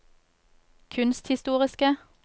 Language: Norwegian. kunsthistoriske